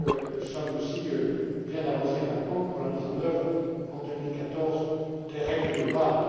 Nous sommes aussi bien avancés maintenant pour la mise en œuvre, en 2014, des règles de Bâle.